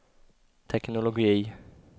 teknologi